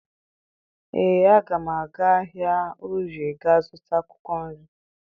Ee, aga m aga ahịa Orie gaa zụta akwụkwọ nri